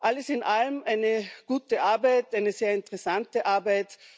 Alles in allem eine gute Arbeit, eine sehr interessante Arbeit.